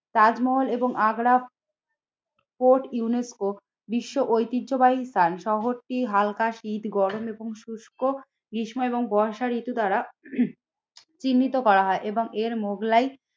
তাজমহল এবং Agra fort UNESCO বিশ্ব ঐতিহ্যবাহী স্থান শহরটি হালকা শীত গরম এবং শুষ্ক, গ্রীষ্ম এবং বর্ষা ঋতু দ্বারা চিহ্নিত করা হয় এবং এর মোগলাই